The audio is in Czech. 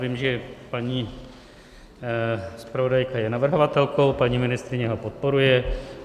Vím, že paní zpravodajka je navrhovatelkou, paní ministryně ho podporuje.